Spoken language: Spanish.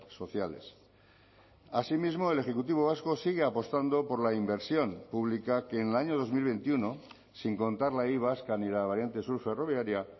sociales asimismo el ejecutivo vasco sigue apostando por la inversión pública que en el año dos mil veintiuno sin contar la y vasca ni la variante sur ferroviaria